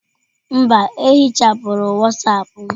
Mba, ehichapụrụ Wọsọpu m.